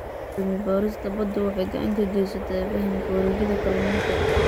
Cilmi-baarista badda waxay gacan ka geysataa fahamka wareegyada kalluunka.